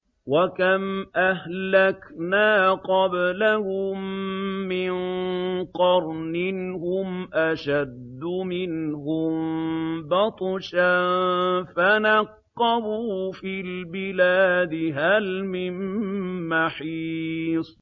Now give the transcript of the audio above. وَكَمْ أَهْلَكْنَا قَبْلَهُم مِّن قَرْنٍ هُمْ أَشَدُّ مِنْهُم بَطْشًا فَنَقَّبُوا فِي الْبِلَادِ هَلْ مِن مَّحِيصٍ